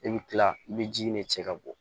I bɛ kila i bɛ ji in de cɛ ka bɔ